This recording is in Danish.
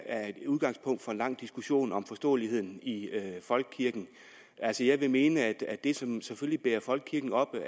er et udgangspunkt for en lang diskussion om forståeligheden i folkekirken altså jeg vil mene at det som selvfølgelig bærer folkekirken oppe